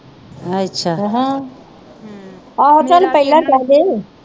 ਚਲ ਪਹਿਲਾ ਕਹਿ ਦੇ